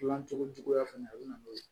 Gilan cogo juguya fana a bɛ na n'o ye